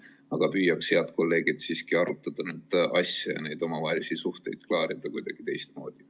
Aga püüaks, head kolleegid, siiski arutada asja ja neid omavahelisi suhteid klaarida kuidagi teistmoodi.